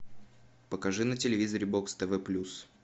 покажи на телевизоре бокс тв плюс